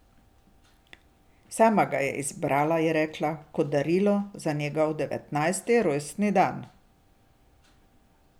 Sama ga je izbrala, je rekla, kot darilo za njegov devetnajsti rojstni dan.